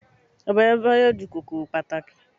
Labalábá yóò di kòkòrò pàtàkì